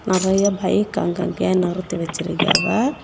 நெறைய பைக் அங்கங்கையா நிறுத்தி வச்சிருக்காவ.